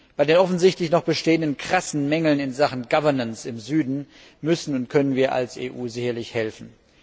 Bei den offensichtlich noch bestehenden krassen Mängeln in Sachen Governance im Süden müssen und können wir als EU sicherlich helfen.